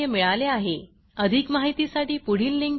हे भाषांतर मनाली रानडे यांनी केले असून मी रंजना भांबळे आपला निरोप घेते